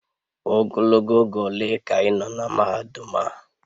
Ogologo oge ole ka ị nọ na mahadum a?